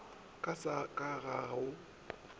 ka sa ka ga go